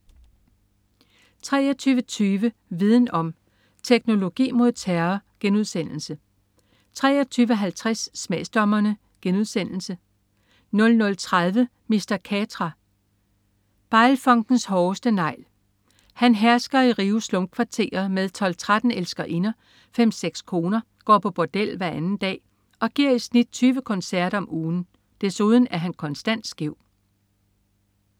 23.20 Viden om: Teknologi mod terror* 23.50 Smagsdommerne* 00.30 Mr. Catra. Baile funkens hårdeste negl. Han hersker i Rios slumkvarterer med 12-13 elskerinder, fem-seks koner, går på bordel hver anden dag og giver i snit 20 koncerter om ugen. Desuden er han konstant skæv